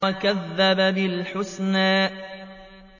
وَكَذَّبَ بِالْحُسْنَىٰ